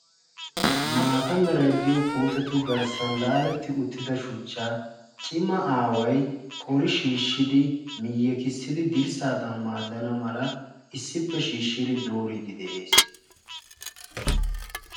maata meray diyo puutetu garssan laaletti uttida shuchchaa cima aaway qori shiishshid miyyekissidi dirissadan maadana mala issippe shiishshidi dooride de'ees